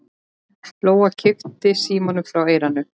Lóa kippti símanum frá eyranu.